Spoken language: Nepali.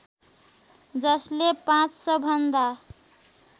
जसले ५०० भन्दा